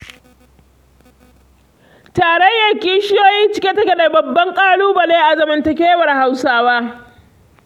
Tarayyar kishiyoyi cike take da babban ƙalaubale a zamantakewar Hausawa.